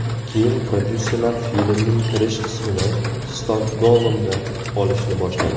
Keyin prodyuserlar filmning kirish qismini Stokgolmda olishni boshladi.